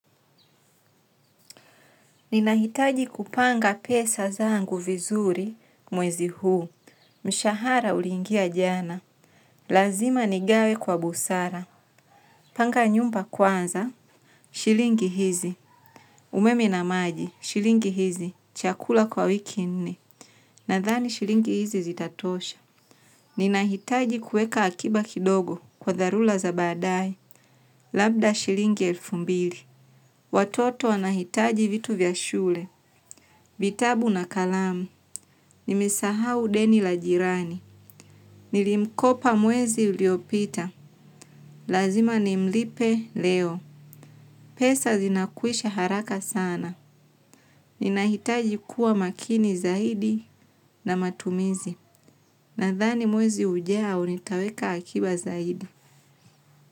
Ninahitaji kupanga pesa zangu vizuri mwezi huu, mshahara uliingia jana, lazima nigawe kwa busara, panga nyumba kwanza, shilingi hizi, umeme na maji, shilingi hizi, chakula kwa wiki nne, nadhani shilingi hizi zitatosha. Ninahitaji kuweka hakiba kidogo kwa dharura za badae labda shilingi elfu mbili watoto wanahitaji vitu kwa shule vitabu na kalamu nimesahau deni la jirani. Nilimkopa mwezi uliopita. Lazima nimlipe leo. Pesa zinakwisha haraka sana. Ninahitaji kuwa makini zaidi na matumizi. Nadhani mwezi hujao nitaweka hakiba zaidi.